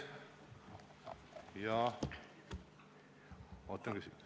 Ja ootan küsimusi.